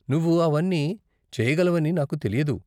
నువ్వు అవన్నీ చేయగలవని నాకు తెలియదు.